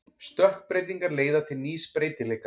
Stökkbreytingar leiða til nýs breytileika.